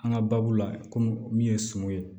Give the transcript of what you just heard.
An ka baabu la komi min ye suman ye